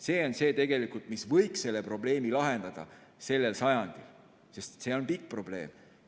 See on see, mis võiks selle probleemi lahendada sellel sajandil, sest see on pikk probleem.